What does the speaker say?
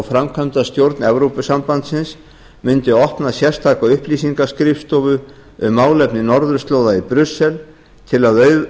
framkvæmdastjórn evrópusambandsins myndi opna sérstaka upplýsingaskrifstofu um málefni norðurslóða í brussel til að